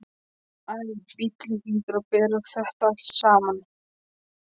Æ, bíllinn hlýtur að bera þetta allt saman.